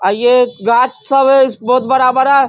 और ये गाछ सब है इस बहोत बड़ा-बड़ा ।